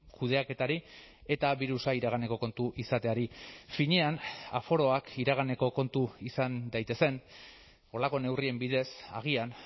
kudeaketari eta birusa iraganeko kontu izateari finean aforoak iraganeko kontu izan daitezen horrelako neurrien bidez agian